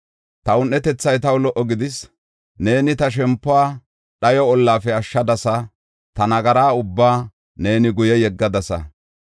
Ta un7etethay taw lo77o gidis; neeni ta shempuwa dhayo ollafe ashshadasa; ta nagara ubbaa neeni guye yeggadasa.